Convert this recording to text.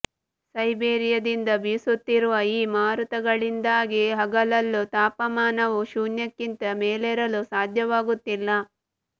ಸೈಬೀರಿಯಾದಿಂದ ಬೀಸುತ್ತಿರುವ ಈ ಮಾರುತಗಳಿಂದಾಗಿ ಹಗಲಲ್ಲೂ ತಾಪಮಾನವು ಶೂನ್ಯಕ್ಕಿಂತ ಮೇಲೇರಲು ಸಾಧ್ಯವಾಗುತ್ತಿಲ್ಲ